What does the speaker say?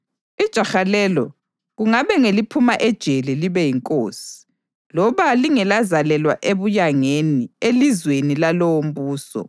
Ijaha lelo kungabe ngeliphuma ejele libe yinkosi, loba lingelazalelwa ebuyangeni elizweni lalowombuso.